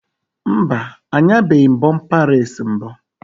Mba, anyabeghi m bọmpa reesi mbụ